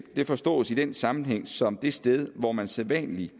forstås i den sammenhæng som det sted hvor man sædvanligvis